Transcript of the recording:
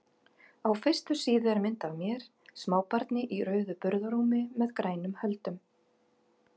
Á fyrstu síðu er mynd af mér, smábarni í rauðu burðarrúmi með grænum höldum.